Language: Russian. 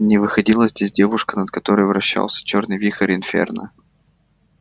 не выходила здесь девушка над которой вращался чёрный вихрь инферно